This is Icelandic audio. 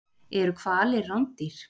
Eru hvalir rándýr?